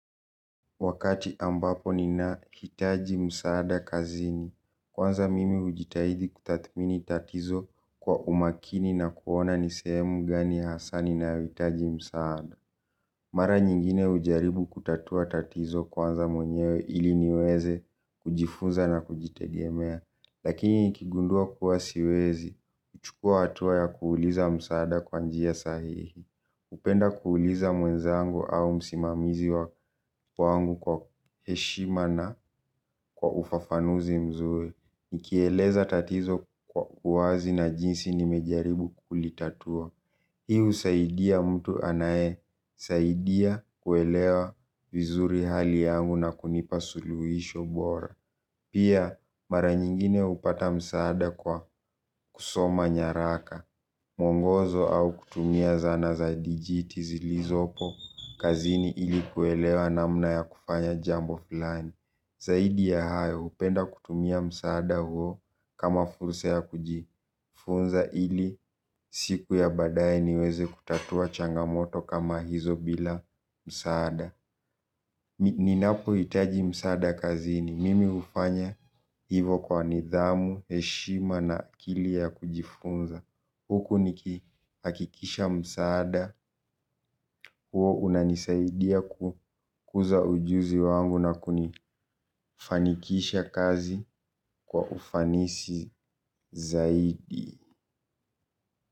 Wakati ambapo nina hitaji msaada kazini, kwanza mimi ujitahidi kutathmini tatizo kwa umakini na kuona nisemu gani hasaa ninayoitaji msaada. Mara nyingine ujaribu kutatua tatizo kwanza mwenyewe ili niweze kujifunza na kujitegemea. Lakini nikigundua kuwa siwezi, kuchukua atuwa ya kuuliza msaada kwa njia sahihi. Upenda kuuliza mwenzangu au msimamizi wa wangu kwa heshima na kwa ufafanuzi mzuri. Nikieleza tatizo kwa uwazi na jinsi nimejaribu kulitatua. Hiu saidia mtu anae, saidia kuelewa vizuri hali yangu na kunipa suluhisho bora. Pia mara nyingine hupata msaada kwa kusoma nyaraka, muongozo au kutumia zana za dijiti zilizopo. Kazini ilikuwelewa namna ya kufanya jambo filani. Zaidi ya hayo hupenda kutumia msaada huo kama fursa ya kujifunza ili siku ya badae niweze kutatua changamoto kama hizo bila msaada. Ninapo itaji msaada kazini mimi ufanya hivo kwa nidhamu, eshima na akili ya kujifunza huku niki hakikisha msaada, huo unanisaidia kukuza ujuzi wangu na kunifanikisha kazi kwa ufanisi zaidi.